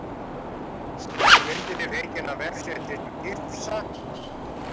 Myndin er fengin af vefsetrinu GIPSA